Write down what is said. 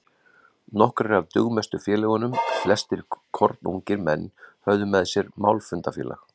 Nokkrir af dugmestu félögunum, flestir kornungir menn, höfðu með sér málfundafélag